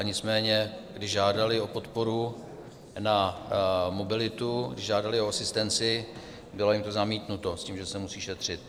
Nicméně když žádali o podporu na mobilitu, když žádali o asistenci, bylo jim to zamítnuto s tím, že se musí šetřit.